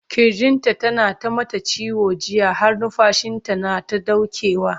kirjin ta na ta mata ciwo jiya har numfashinta nata ɗaukewa